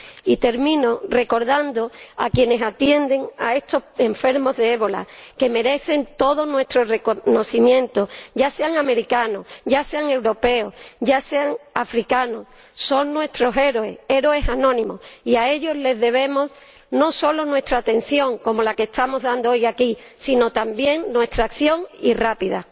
Y termino recordando a quienes atienden a estos enfermos de ébola, que merecen todo nuestro reconocimiento ya sean americanos, ya sean europeos, ya sean africanos. Son nuestros héroes, héroes anónimos, y a ellos les debemos no solo nuestra atención, como la que estamos dando hoy aquí, sino también nuestra acción, y rápida.